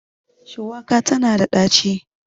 shuwaka tana da daci